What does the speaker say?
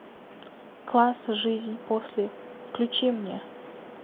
класс жизнь после включи мне